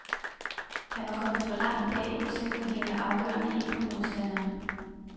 Han var kommet for langt bagud til at kunne hale afgørende ind på modstanderen.